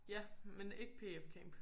Ja men ikke pf camp